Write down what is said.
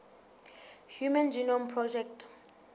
human genome project